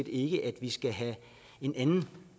ikke at vi skal have en anden